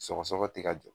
Sɔgɔsɔgɔ ti ka jɔ